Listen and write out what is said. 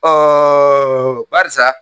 Ɔ barisa